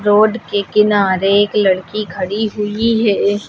Road के किनारे एक लड़की खड़ी हुई है।